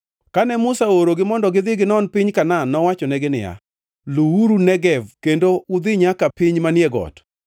Kane Musa oorogi mondo gidhi ginon piny Kanaan, nowachonegi niya, “Luwuru Negev kendo udhi nyaka piny manie got.